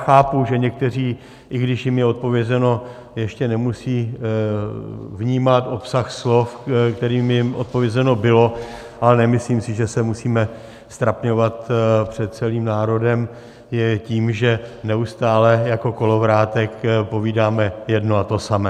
Chápu, že někteří, i když jim je odpovězeno, ještě nemusí vnímat obsah slov, kterým jim odpovězeno bylo, ale nemyslím si, že se musíme ztrapňovat před celým národem tím, že neustále jako kolovrátek povídáme jedno a to samé.